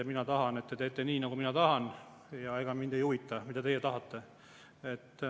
Mina tahan, et te teete nii, nagu mina tahan, ja ega mind ei huvita, mida teie tahate.